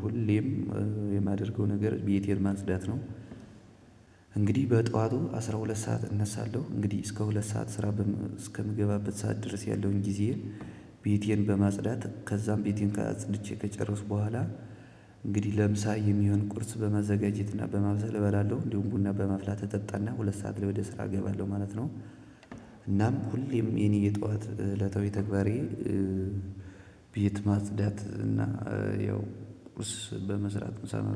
ሁሌም የማደርገው ነገር ቤቴን ማጽዳት ነው። እንግዲህ በጠዋቱ አስራ ሁለት ሰዓት እነሳለሁ። እንግዲህ እስከ ሁለት ሰዓት ስራ እስከምገባበት ሰዓት ድረስ ያለውን ጊዜየን ቤቴን በማጽዳት ከዛም ቤቴን አጽድቼ ከጨረስኩ በኋላ እንግዲህ ለምሳ የሚሆን ቁርስ በማዘጋጀት እና በማብሰል እበላለሁ። እንዲሁም ቡና በማፍላት እጠጣና ሁለት ሰዓት ላይ ወደ ስራ እገባለሁ ማለት ነው። እናም ሁሌም የኔ የጠዋት እለታዊ ተግባሬ ቤት ማጽዳት እና ያው ቁስ በመስራት ምሳ